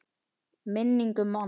Minning um mann.